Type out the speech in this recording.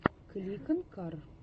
кликонкар